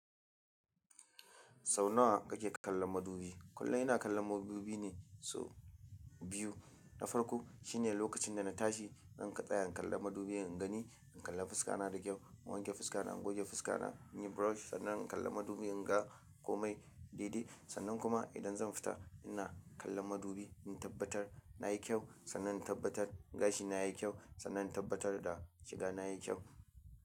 Sau nawa kake kallon madubi? Kullum ina kallon madubi ne, sau biyu. Na farko shine lokacin da na tashi, zan ka, tsaya in kalla madubi in gani, in kalla fuska na da kyau. Na wanke fuska na, na goge fuska na, na yi brush, sannan in kalla madubi in ga komai daidai. Sannan kuma idan zan fita ina kallon madubi, in tabbatar na yi kyau, sannan in tabbatar gashi na ya yi kyau, sannan in tabbatar da shiga na ya yi kyau.